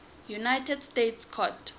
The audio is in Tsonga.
united states court